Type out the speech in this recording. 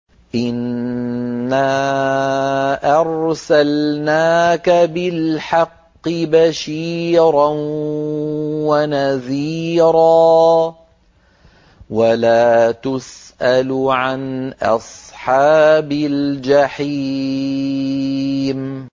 إِنَّا أَرْسَلْنَاكَ بِالْحَقِّ بَشِيرًا وَنَذِيرًا ۖ وَلَا تُسْأَلُ عَنْ أَصْحَابِ الْجَحِيمِ